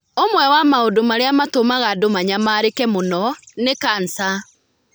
Ũmwe wa maũndũ marĩa matũmaga andũ manyamarĩke mũno nĩ kanca.